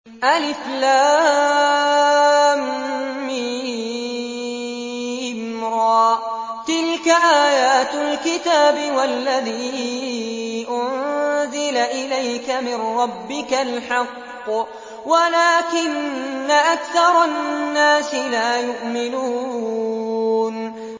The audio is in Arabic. المر ۚ تِلْكَ آيَاتُ الْكِتَابِ ۗ وَالَّذِي أُنزِلَ إِلَيْكَ مِن رَّبِّكَ الْحَقُّ وَلَٰكِنَّ أَكْثَرَ النَّاسِ لَا يُؤْمِنُونَ